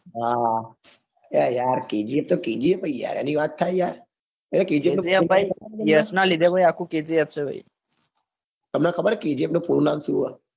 હા અરે યા kgf તો kgf છે યાર એની વાત થાય યાર ભાઈ તમન ખબર ચ kgf નું પૂરું નામ સુ છે?